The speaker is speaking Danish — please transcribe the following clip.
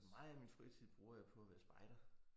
Meget af min fritid bruger jeg på at være spejder